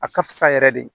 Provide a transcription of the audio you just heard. A ka fisa yɛrɛ de